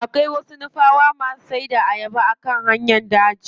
Akwai wasu nupawa da ke siyar da ayaba a hanyar jabi.